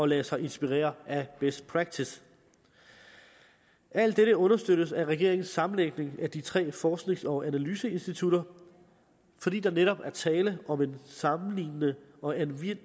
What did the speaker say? lade sig inspirere af best practice alt dette understøttes af regeringens sammenlægning af de tre forsknings og analyseinstitutter fordi der netop er tale om en sammenlignende og anvendelig